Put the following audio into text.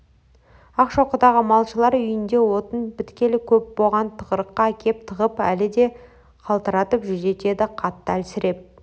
ақшоқыдағы малшылар үйінде отын біткелі көп боған тығырыққа әкеп тығып әлі де қалтыратып жүдетеді қатты әлсіреп